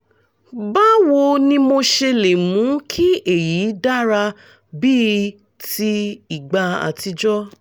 báwo ni mo ṣe lè mú kí èyí dára bíi ti ìgbà àtijọ́?